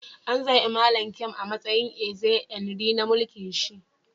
An zaba Mallam Nkem a'matsayin Eze Nri na mulki'n shi.